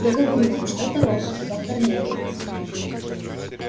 я говорю вам что это робот доктор лэннинг